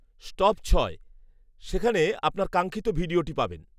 stop ছয়, সেখানে আপনর কাঙ্ক্ষিত ভিডিওটি পাবেন